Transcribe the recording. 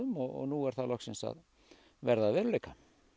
og nú er það loksins að verða að veruleika